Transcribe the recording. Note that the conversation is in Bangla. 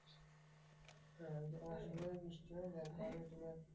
হ্যাঁ ঐ যে অসময়ে বৃষ্টি হয়। যার কারণে তোমার